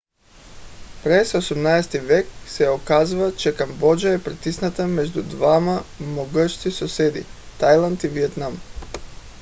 през 18 -ти век се оказва че камбоджа е притисната между двама могъщи съседи тайланд и виетнам